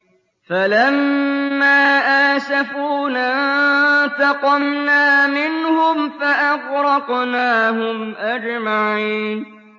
فَلَمَّا آسَفُونَا انتَقَمْنَا مِنْهُمْ فَأَغْرَقْنَاهُمْ أَجْمَعِينَ